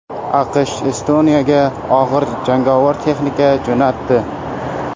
AQSh Estoniyaga og‘ir jangovar texnika jo‘natdi .